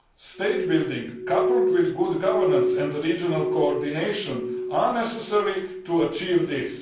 State building, coupled with good governance and regional coordination, is necessary to achieve this.